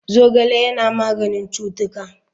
Zogale Yana maganin cutuka.